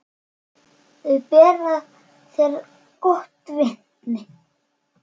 Þau bera þér gott vitni.